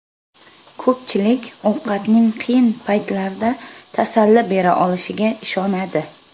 Ko‘pchilik ovqatning qiyin paytlarda tasalli bera olishiga ishonadi.